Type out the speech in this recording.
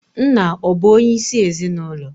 Nna ọ̀ bụ onyeisi ezinụlọ?